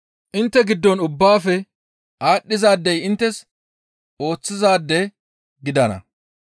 Intte giddon ubbaafe aadhdhizaadey inttes ooththizaade gidana.